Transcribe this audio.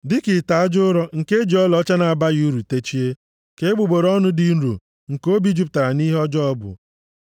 Dịka ite aja ụrọ nke e ji ọlaọcha na-abaghị uru techie, ka egbugbere ọnụ dị nro nke obi jupụtara nʼihe ọjọọ bụ.